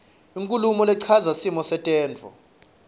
inkhulumo lechaza simo setemntfo